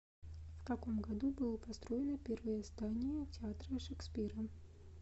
в каком году было построено первое здание театра шекспира